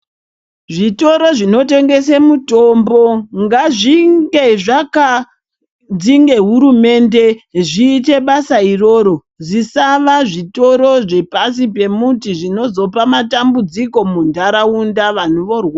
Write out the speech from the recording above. Zvitoro zvinotengese mitombo ngazvinge zvakanzi nehurumende zviite basa iroro zvisava zvitoro zvepasi pemuti zvinozopa matambudziko muntaraunta vanhu vorwara.